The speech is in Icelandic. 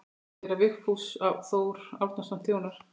Séra Vigfús Þór Árnason þjónar.